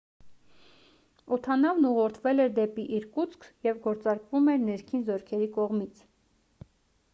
օդանավն ուղղորդվել էր դեպի իրկուտսկ և գործարկվում էր ներքին զորքերի կողմից